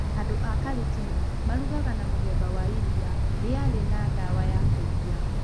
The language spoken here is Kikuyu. Andũ a Kalenjin marugagwo na mũthemba wa iria rĩarĩ na ndawa ya kũimbia.